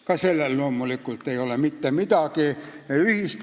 Ka sellel ei ole asjaga loomulikult mitte midagi ühist.